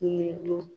Ni dun